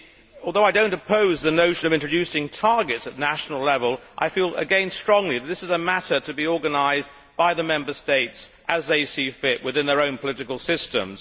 Although I do not oppose the notion of introducing targets at national level, I again feel strongly that this is a matter to be organised by the Member States as they see fit within their own political systems.